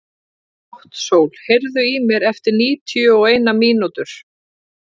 Náttsól, heyrðu í mér eftir níutíu og eina mínútur.